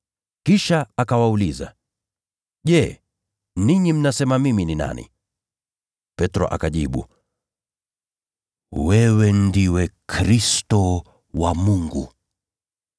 Kisha akawauliza, “Je, ninyi mnasema mimi ni nani?” Petro akajibu, “Wewe ndiwe Kristo wa Mungu.”